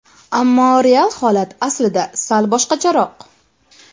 Ammo real holat aslida sal boshqacharoq.